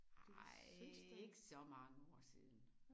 Ej ikke så mange år siden